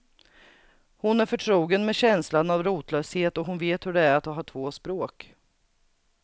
Hon är förtrogen med känslan av rotlöshet och hon vet hur det är att ha två språk.